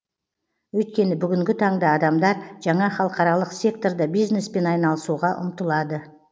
өйткені бүгінгі таңда адамдар жаңа халықаралық секторда бизнеспен айналысуға ұмтылады